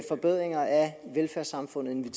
den